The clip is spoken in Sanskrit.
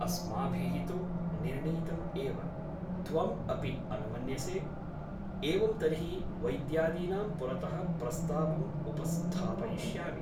अस्माभिः तु निर्णीतम् एव । त्वम् अपि अनुमन्यसे । एवं तर्हि वैद्यादीनां पुरतः प्रस्तावम् उपस्थापयिष्यामि ।